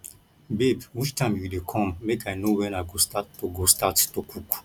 babe which time you dey come make i know when i go start to go start to cook